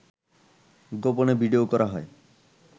গোপনে ভিডিও করা হয়